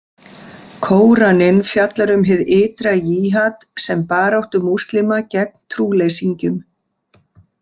Kóraninn fjallar um hið ytra jihad sem baráttu múslima gegn trúleysingjum.